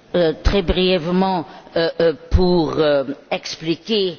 Monsieur le Président, je souhaite brièvement expliquer